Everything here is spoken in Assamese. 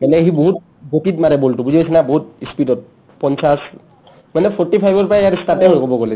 মানে সি বহুত গতিত মাৰে ball টো বুজি পাইছানে বহুত ই speed ত পঞ্চাছ মানে forty-five ৰ পাই ইয়াৰ start য়ে হয় ক'ব গ'লে